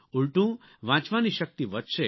ઉલટું વાંચવાની શક્તિ વધશે